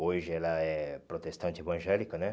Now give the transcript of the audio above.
Hoje ela é protestante evangélica, né?